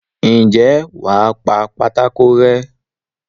ǹjẹ́ wà á pa pátákó rẹ́?